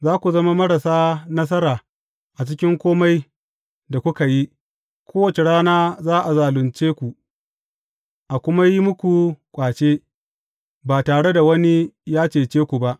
Za ku zama marasa nasara a cikin kome da kuka yi; kowace rana za a zalunce ku, a kuma yi muku ƙwace, ba tare da wani ya cece ku ba.